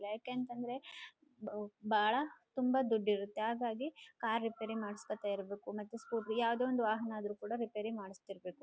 ಯಾಕೆಅಂತಂದ್ರೆ ಬಹಳ ತುಂಬ ದೊಡ್ದು ಇರುತ್ತೆ ಹಾಗಾಗಿ ಕಾರ್ ರಿಪೇರ್ ಮಾಡ್ಸ್ಕೊತ ಇರ್ಬೇಕು ಮತ್ತೆ ಸ್ಕೂಟ್ರ್ ಯಾವದೇ ಒಂದು ವಾಹನ ಆದ್ರೂ ಕೂಡ ರಿಪೇರ್ ಮಾಡ್ಸತಿರ್ಬೇಕು.